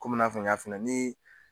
Komi i n'a fɔ n y'a f'i ɲɛna ni